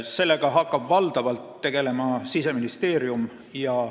Sellega hakkab valdavalt tegelema Siseministeerium.